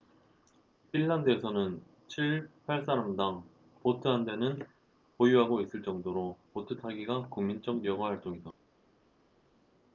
핀란드에서는 7~8사람당 보트 한 대는 보유하고 있을 정도로 보트 타기가 국민적 여가활동이다